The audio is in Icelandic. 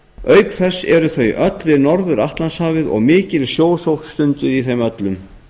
auk þess eru þau öll við norður atlantshafið og mikil sjósókn stunduð í þeim öllum